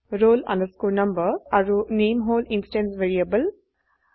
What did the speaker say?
roll number আৰু নামে হল ইনষ্টেন্স ভ্যাৰিয়েবল